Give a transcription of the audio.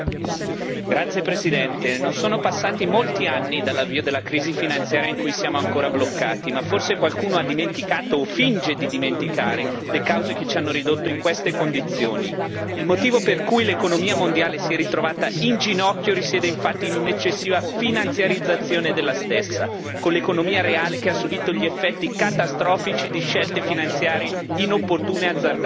Signor Presidente, onorevoli colleghi, non sono passati molti anni dall'avvio della crisi finanziaria in cui siamo ancora bloccati ma forse qualcuno ha dimenticato, o finge di dimenticare, le cause che ci hanno ridotto in queste condizioni. Il motivo per cui l'economia mondiale si è ritrovata in ginocchio risiede, infatti, in un'eccessiva finanziarizzazione della stessa, con l'economia reale che ha subito gli effetti catastrofici di scelte finanziarie inopportune e azzardate.